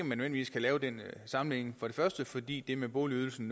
nødvendigvis kan lave den sammenligning for det første fordi det med boligydelsen